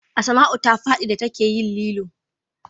Asmau ta fadi da ta ke yin lilo